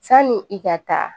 Sani i ka taa